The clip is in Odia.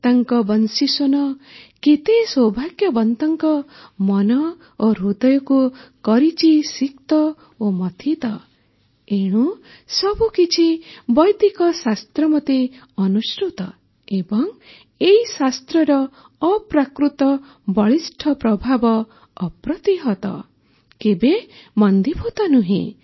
ତାଙ୍କ ବଂଶୀସ୍ୱନ କେତେ ସୌଭାଗ୍ୟବନ୍ତଙ୍କ ମନ ଓ ହୃଦୟକୁ କରିଛି ସିକ୍ତ ଓ ମଥିତ ଏଣୁ ସବୁକିଛି ବୈଦିକ ଶାସ୍ତ୍ରମତେ ଅନୁସୃତ ଏବଂ ଏହି ଶାସ୍ତ୍ରର ଅପ୍ରାକୃତ ବଳିଷ୍ଠ ପ୍ରଭାବ ଅପ୍ରତିହତ କେବେ ମନ୍ଦୀଭୂତ ନୁହେଁ